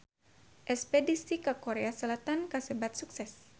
Espedisi ka Korea Selatan kasebat sukses